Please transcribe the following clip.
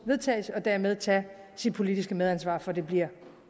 vedtagelse og dermed tage sit politiske medansvar så det bliver